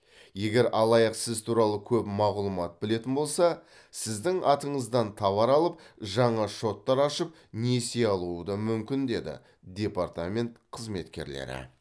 егер алаяқ сіз туралы көп мағлұмат білетін болса сіздің атыңыздан товар алып жаңа шоттар ашып несие алуы да мүмкін деді департамент қызметкерлері